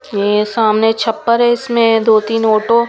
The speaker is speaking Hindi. यह सामने छप्पर है इसमें दो-तीन ऑटो.